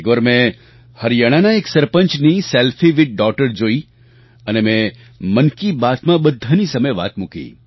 એકવાર મેં હરિયાણાના એક સરપંચની સેલ્ફી વિથ ડોગટર જોઈ અને મેં મન કી બાતમાં બધાની સામે વાત મૂકી